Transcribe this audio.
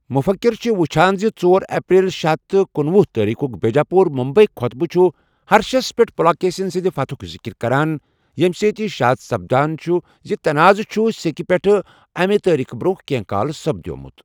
مُفکِر چھ، وُچھان زِ ژور اپریل شے ہتھَ تہٕ کُنوُہ تٲریخُک بیجاپُور مُمبیی خوطبہٕ چھُ ہرشس پیٹھ پُلاکیسِن سٕندِ فتحُک ذکِر کران ، یمہِ سۭتۍ یہِ شاد سپدان چھُ زِ تنعاضہٕ چھُ سیکہٕ پٲٹھِ امہِ تٲریخہٕ برونہہ کینہہ کال سپدِیومُت ۔